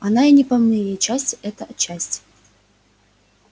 да и не по моей все это части